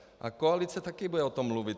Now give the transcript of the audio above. A koalice taky bude o tom mluvit.